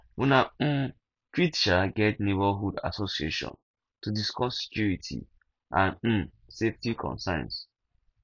una um fit um get neighbourhood assosiation to discuss security and um safety concerns